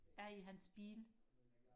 er i hans bil